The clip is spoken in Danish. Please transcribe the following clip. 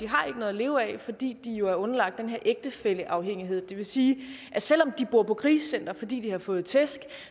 har noget at leve af fordi de er underlagt den her ægtefælleafhængighed det vil sige at selv om de bor på krisecenter fordi de har fået tæsk